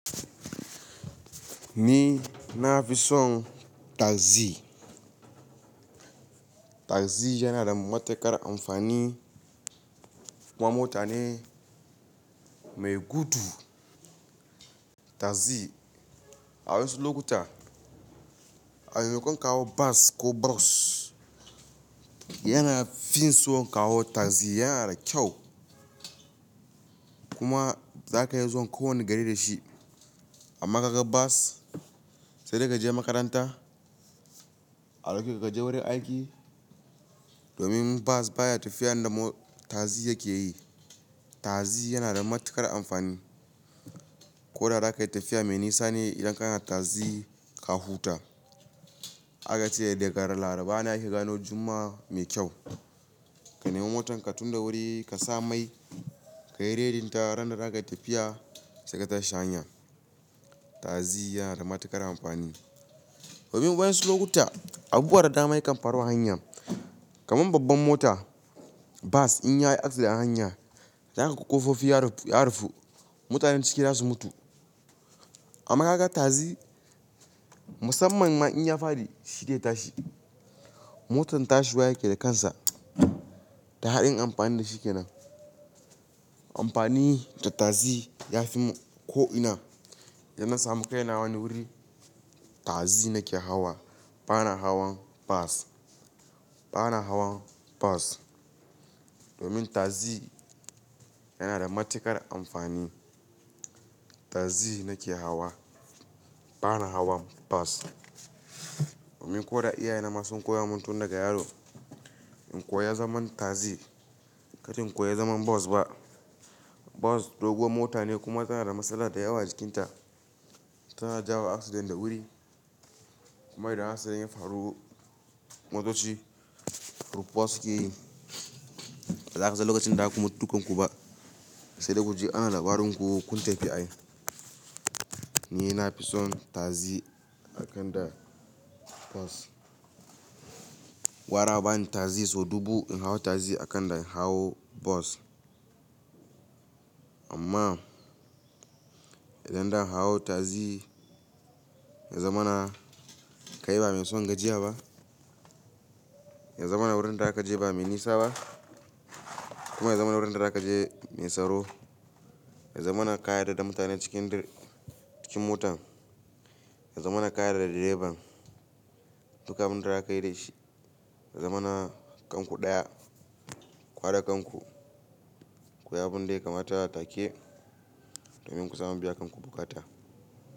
Ni na fi son taxi. Taxi yana da matuƙar amfani. Kuma mota ne mai gudu. Taxi a wasu lokuta a maimakon ka hau bas ko bos, yana fin son ka hau taxi, yana da kyau. Kuma za ka iya zuwa kowane gari da shi. Amm kaga bas, sai dai ka je makaranta, a dauke ka kaje wurin aiki, domin bas baya tafiyar da taxi yake yi. Taxi yana da matuƙar amfani. Ko da za ka yi tafiya mai nisa ne idan kana taxi ka huta. Aka ce daga ran Laraba ne ake gano Juma'a mai kyau. Ka nemo motar ka, tunda wuri ka sa mai, ka yi redin ta ran da za ka yi tafiya sai ka tashi hanya. Taxi yana da matuƙar amfani. Domin wa'yasu lokuta, abubuwa da dama yakan faru a hanya. Kaman babban mota bas in ya yi accident a hanya, za kaga ƙofofi ya rufu, mutanen cikin za su mutu. Amma ka ga taxi, musamman ma in ya faɗi shi dai tashi. Motan tashi wa yake da kansa, daɗin amfanin da shi ke nan. Amfani da taxi ya fi mun ko'ina, idan na samu kai na wani wuri, taxi nake hawa bana hawan bas. Bana hawan bas domin taxi yana da matuƙar amfani. Taxi nake hawa bana hawan bas. Domin ko da iyaye na ma sun koya mun tun daga yaro, in koya zaman taxi, katin koya zaman bas ba. Bas doguwar mota ne kuma tana da matsala da yawa jikinta. Tana jawo accident da wuri. Mai da hasari in ya faru motoci rufuwa suke yi. Ba za ka san lokacin da zaku mutu dukan ku ba. Sai dai kuji ana labarin ku kun tafi ai. Ni na fi son taxi akan da bas. Wara a bani taxi so dubu in hau taxi akan da in hau bas. Amma idan zan hau taxi ya zamana ka yi ba mai son gajiya ba. Ya zamana wurin da za ka je ba mai nisa ba. Kuma ya zamana wurin da za ka je mai tsaro. Ya zamana ka yarda da mutanen cikin motan. Ya zamana ka yarda da direban dukan abin da za ka yi da shi. Ya zamana kanku ɗaya ku hada kanku. Ku yi abin da kamar ta a take, domin ku samu biya kanku bukata.